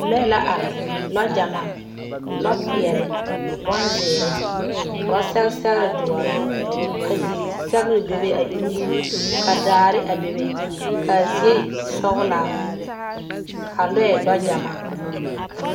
lɔɛ la are, lɔɔ gyamaa , lɔɔ pɛɛle, bonzeɛre ka ba sɛge sɛgere doɔre ka zisɛgere bebe a e ulluu ka daare a bebe ka a zie sɔglaa ka lɔɛ lɔɔ gyamaa.